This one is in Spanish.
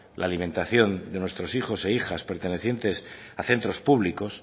la alimentación de nuestros hijos e hijas pertenecientes a centro públicos